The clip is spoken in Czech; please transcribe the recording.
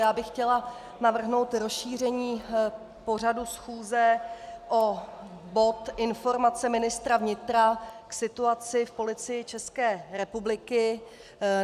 Já bych chtěla navrhnout rozšíření pořadu schůze o bod Informace ministra vnitra k situaci v Policii České republiky.